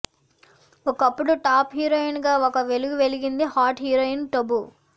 ఒకప్పుడు top heroine గా ఒక వెలుగు వెలిగింది హాట్ హీరోయిన్ టబు